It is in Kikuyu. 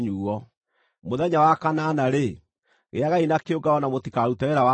“ ‘Mũthenya wa kanana-rĩ, gĩagai na kĩũngano na mũtikarute wĩra wa ndũire.